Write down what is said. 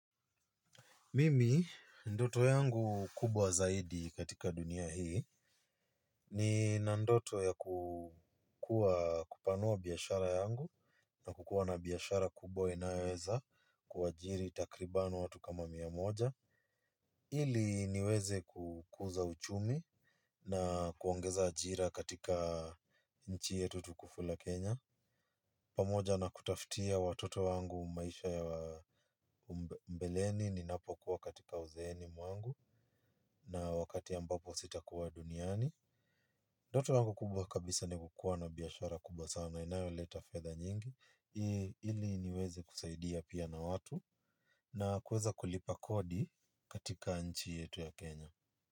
Mimi ndoto yangu kubwa zaidi katika dunia hii, nina ndoto ya kupanua biashara yangu na kukuwa na biashara kubwa inayoweza kuajiri takribani watu kama mia moja. Ili niweze kukuza uchumi na kuongeza ajira katika nchi yetu tukufu la Kenya. Pamoja na kutafutia watoto wangu maisha ya mbeleni ninapo kuwa katika uzeeni mwangu na wakati ambapo sitakuwa duniani ndoto yangu kubwa kabisa ni kukuwa na biashara kubwa sana inayoleta fedha nyingi ili niweze kusaidia pia na watu na kuweza kulipa kodi katika nchi yetu ya Kenya.